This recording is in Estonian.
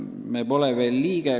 Me pole veel liige.